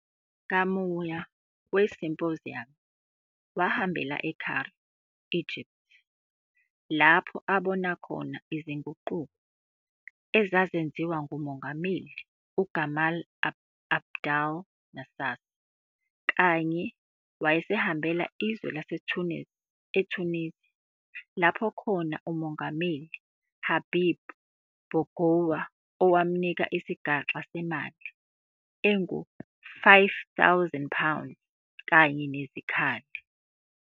Ngamua kwe-symposium, wahambela e-Cairo, Egypt, lapho abona khona izinguquko ezazenziwa nguMongameli uGamal Abdel Nasser, kanye wayesehambela izwe lase-Tunis, eTunisia, lapho khona uMongameli Habib Bourguiba owamnika isixa semali engu-5000 pounds kanye nezikhali.